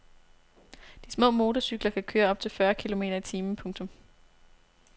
De små motorcykler kan køre op til fyrre kilometer i timen. punktum